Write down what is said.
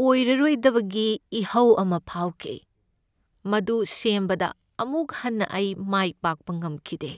ꯑꯣꯏꯔꯔꯣꯏꯗꯕꯒꯤ ꯏꯍꯧ ꯑꯃ ꯐꯥꯎꯈꯤ ꯫ ꯃꯗꯨ ꯁꯦꯝꯕꯗ ꯑꯃꯨꯛ ꯍꯟꯅ ꯑꯩ ꯃꯥꯏ ꯄꯥꯛꯄ ꯉꯝꯈꯤꯗꯦ ꯫